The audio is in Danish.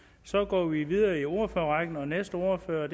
så går vi videre i ordførerrækken og næste ordfører